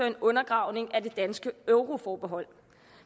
en undergravning af det danske euroforbehold